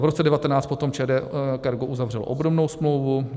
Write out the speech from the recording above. V roce 2019 potom ČD Cargo uzavřelo obdobnou smlouvu.